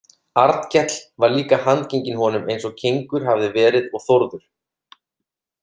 Arnkell var líka handgenginn honum eins og Kengur hafði verið og Þórður.